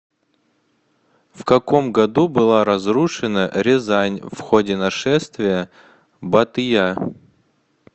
в каком году была разрушена рязань в ходе нашествия батыя